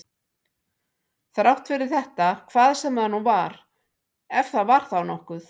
Þrátt fyrir þetta hvað sem það nú var, ef það var þá nokkuð.